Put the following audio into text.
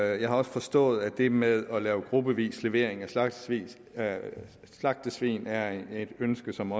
jeg har også forstået at det med gruppevis levering af slagtesvin af slagtesvin er et ønske som